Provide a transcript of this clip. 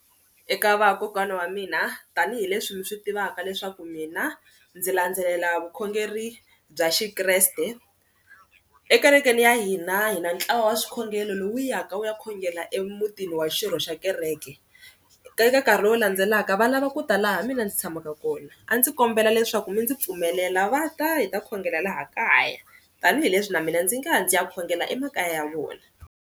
Eka va kokwana wa mina tanihileswi mi swi tivaka leswaku mina ndzi landzelela vukhongeri bya xikreste ekerekeni ya hina hina ntlawa wa swikhongelo lowu ya ka wu ya khongela emutini wa xirho xa kereke, ka nkarhi lowu landzelaka va lava ku ta laha mina ndzi tshamaka kona a ndzi kombela leswaku mi ndzi pfumelela va ta hi ta khongela laha kaya tanihileswi na mina ndzi nga ya ndzi ya khongela emakaya ya vona.